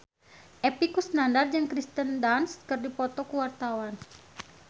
Epy Kusnandar jeung Kirsten Dunst keur dipoto ku wartawan